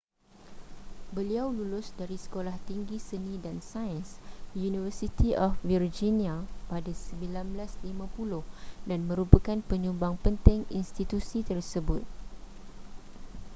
beliau lulus dari sekolah tinggi seni & sains university of virginia pada 1950 dan merupakan penyumbang penting institusi tersebut